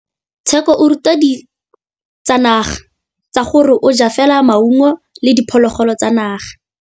Tshekô o rata ditsanaga ka gore o ja fela maungo le diphologolo tsa naga.